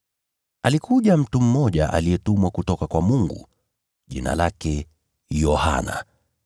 Alikuja mtu mmoja aliyetumwa kutoka kwa Mungu, jina lake Yohana.